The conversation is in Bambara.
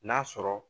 N'a sɔrɔ